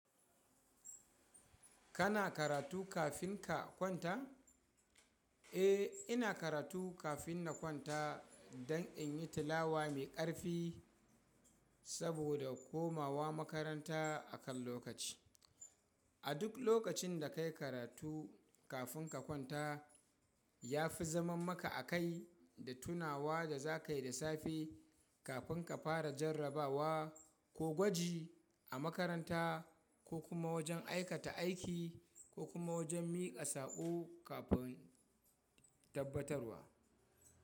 Kana karatu kafin ka kwanta? Eh, ina karatu kafin na kwanta don in yi talawa mai ƙarfi saboda komawa makaranta a kan lokaci. A duk lokacin da kai karatu kafin ka kwanta, ya fi zaman maka a kai da tunawa da za ka yi da safe kafin ka fara jarrabawa ko gwaji a makaranta ko kuma wajen aikata aiki ko kuma wajen miƙa saƙo kafin tabbatarwa.